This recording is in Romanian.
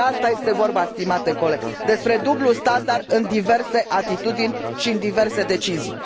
Despre asta este vorba, stimate coleg, despre dublul standard în diverse atitudini și în diverse decizii.